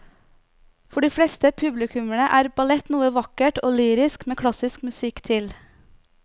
For de fleste publikummere er ballett noe vakkert og lyrisk med klassisk musikk til.